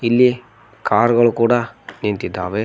ಇಲ್ಲಿ ಕಾರ್ ಗಳ್ ಕೂಡ ನಿಂತಿದ್ದಾವೆ.